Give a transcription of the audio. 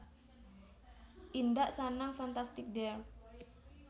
Indak Sanang Fantastic dear